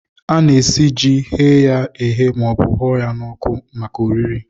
Ana-esi ji, ghee ya eghee maọbụ hụrịa ya n'ọkụ maka oriri